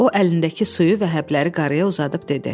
O əlindəki suyu və həbləri qarıya uzadıb dedi.